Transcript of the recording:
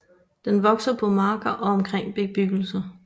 Den vokser på marker og omkring bebyggelse